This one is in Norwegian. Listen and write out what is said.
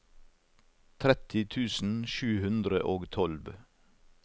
tretti tusen sju hundre og tolv